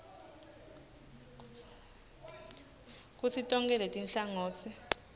kutsi tonkhe letinhlangotsi